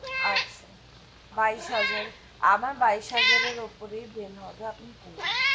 আচ্ছা বাইশ হাজার, আমার বাইশ হাজারের ওপরই bill হবে আপনি রকুন,